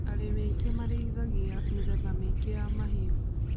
Arĩmi aingĩ marĩithagia mĩthemba mĩingi ya mahiũ